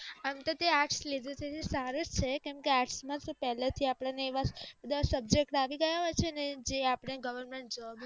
આમ તો તે આર્ટસ લીધું છે તે સારું જ છે કેમ કે આર્ટસ માં શું પેલે થી આપણ ને એવા બધ subjectt આવી ગયા હોય છે કે જે આ પણ ને government job માં